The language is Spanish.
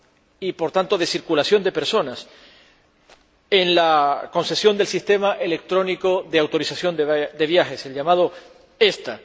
y, por tanto, de circulación de personas, en la concesión del sistema electrónico de autorización de viajes, el llamado ESTA.